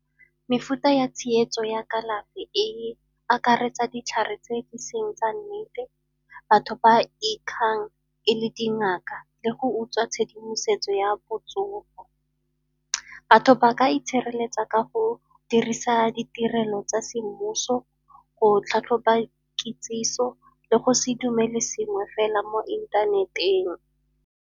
Mefuta ya tsietso ya kalafi e akaretsa ditlhare tse di seng tsa nnete, batho ba ikgang e le dingaka le go utswa tshedimosetso ya botsogo. Batho ba ka itshireletsa ka go dirisa ditirelo tsa semmuso, go tlhatlhoba kitsiso le go se dumele sengwe fela mo inthaneteng.